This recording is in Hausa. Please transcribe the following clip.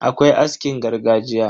Akwai askin gargajiya.